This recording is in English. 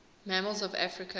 mammals of africa